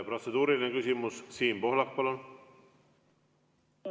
Protseduuriline küsimus, Siim Pohlak, palun!